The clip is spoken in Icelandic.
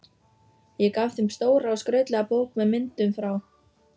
Ég gaf þeim stóra og skrautlega bók með myndum frá